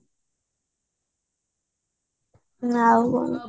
ଆଉ କଣ